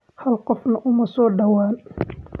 Hal qofna uma soo dhawaan.